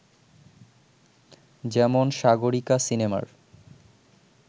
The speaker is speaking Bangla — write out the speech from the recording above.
যেমন ‘সাগরিকা’ সিনেমার